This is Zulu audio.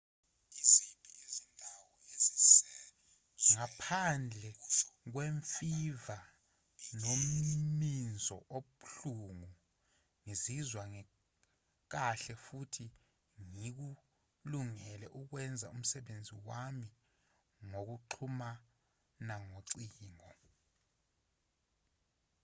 ngaphandle kwemfiva nomminzo obuhlungu ngizizwa ngikahle futhi ngikulungele ukwenza umsebenzi wami ngokuxhumana ngocingo